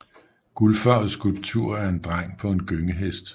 Guldfarvet skulptur af en dreng på en gyngehest